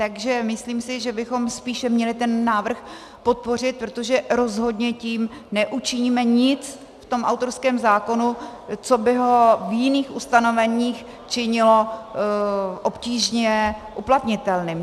Takže myslím si, že bychom spíše měli ten návrh podpořit, protože rozhodně tím neučiníme nic v tom autorském zákonu, co by ho v jiných ustanoveních činilo obtížně uplatnitelným.